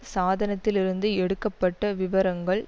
சாதனத்தில் இருந்து எடுக்க பட்ட விபரங்கள்